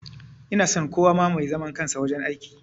Ina son kowa ma mai zaman kansa wajen aiki